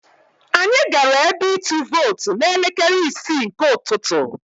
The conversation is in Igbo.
Anyị gara ebe ịtụ vootu n'elekere isii nke ụtụtụ.